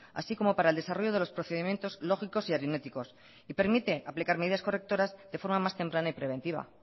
así como para el desarrollo de los procedimientos lógicos y aritméticos y permite aplicar medidas correctoras de forma más temprana y preventiva